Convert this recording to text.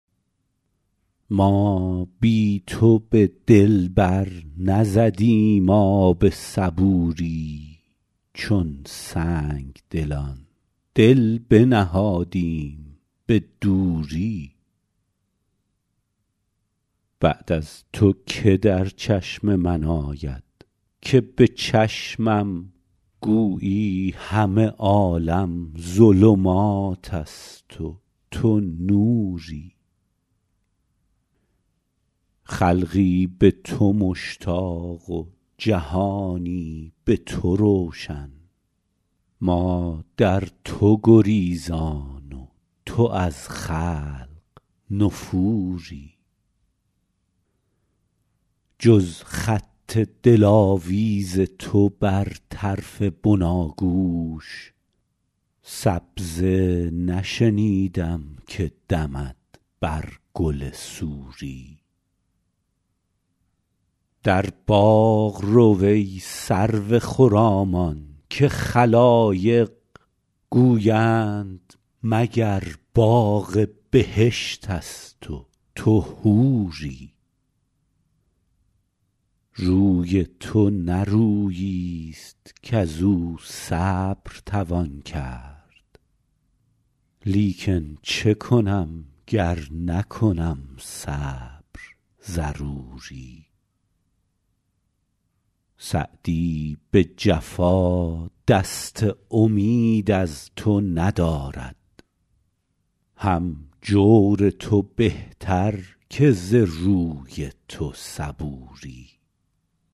ما بی تو به دل بر نزدیم آب صبوری چون سنگدلان دل بنهادیم به دوری بعد از تو که در چشم من آید که به چشمم گویی همه عالم ظلمات است و تو نوری خلقی به تو مشتاق و جهانی به تو روشن ما در تو گریزان و تو از خلق نفوری جز خط دلاویز تو بر طرف بناگوش سبزه نشنیدم که دمد بر گل سوری در باغ رو ای سرو خرامان که خلایق گویند مگر باغ بهشت است و تو حوری روی تو نه روییست کز او صبر توان کرد لیکن چه کنم گر نکنم صبر ضروری سعدی به جفا دست امید از تو ندارد هم جور تو بهتر که ز روی تو صبوری